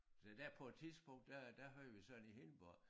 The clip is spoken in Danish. Se der på et tidspunkt der der havde vi sådan i Hindborg